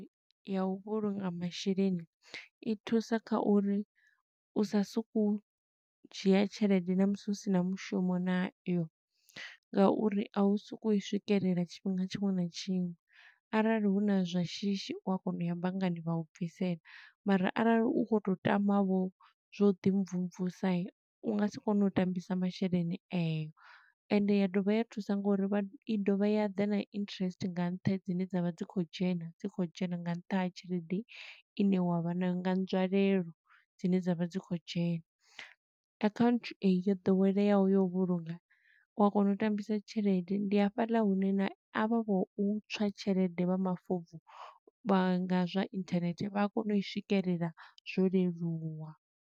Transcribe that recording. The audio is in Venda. Ya u vhulunga masheleni, i thusa kha uri u sa suku u dzhia tshelede na musi u sina mushumo nayo, nga uri a u soko u i swikelela tshifhinga tshiṅwe na tshiṅwe. Arali huna zwa shishi u a kona u ya banngani vha u bvisela, mara arali u khou to tama vho zwo ḓi mvumvusa, u nga si kone u tambisa masheleni eyo. Ende ya dovha ya thusa ngo uri i dovha ya ḓa na interest nga nṱha dzine dza vha dzi khou dzhena, dzi khou dzhena nga nṱha ha tshelede i ne wa vha nayo nga nzwalelo dzine dza vha dzi khou dzhena. Account eyi yo ḓoweleaho yo u vhulunga, u a kona u tambisa tshelede, ndi hafhaḽa hune na avha vho u tswa tshelede vha mafobvu, vha nga zwa inthanethe, vha a kona u i swikelela zwo leluwa.